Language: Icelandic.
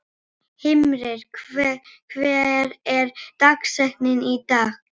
Himri, hver er dagsetningin í dag?